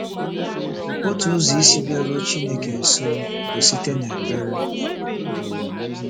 Otu ụzọ isi bịaruo Chineke nso bụ site n’ekpere.